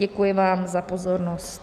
Děkuji vám za pozornost.